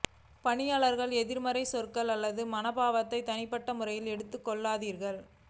பணியாளரின் எதிர்மறை சொற்கள் அல்லது மனோபாவத்தை தனிப்பட்ட முறையில் எடுத்துக்கொள்ளாதீர்கள்